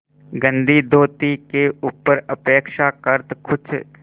गंदी धोती के ऊपर अपेक्षाकृत कुछ